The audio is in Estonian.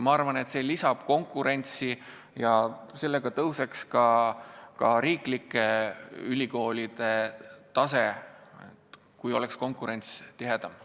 Ma arvan, et see lisaks konkurentsi ja ka riiklike ülikoolide tase tõuseks, kui konkurents oleks tihedam.